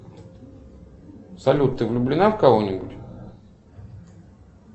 салют ты влюблена в кого нибудь